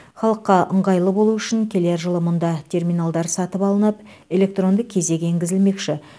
халыққа ыңғайлы болуы үшін келер жылы мұнда терминалдар сатып алынып электронды кезек енгізілмекші